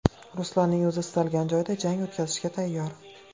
Ruslanning o‘zi istalgan joyda jang o‘tkazishga tayyor.